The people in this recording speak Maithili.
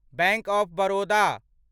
bank of Baroda